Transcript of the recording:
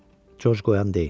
Corc qoyan deyil.